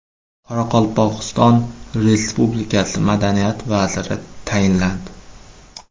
Qoraqalpog‘iston Respublikasi Madaniyat vaziri tayinlandi.